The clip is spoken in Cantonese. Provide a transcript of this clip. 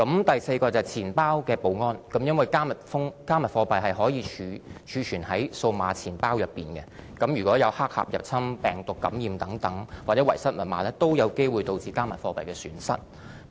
第四，是錢包的保安，因為"加密貨幣"可以儲存於數碼錢包，如果有黑客入侵、病毒感染或遺失密碼等，均有機會導致加密數碼貨幣的損失。